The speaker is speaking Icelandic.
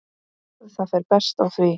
Það fer best á því.